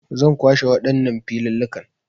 Zan kwashe waɗannan filillikan